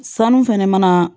Sanu fɛnɛ mana